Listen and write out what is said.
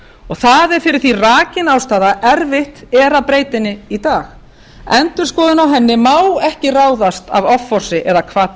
það er fyrir því rakin ástæða erfitt er að breyta henni í dag endurskoðun á henni má ekki ráðast af offorsi eða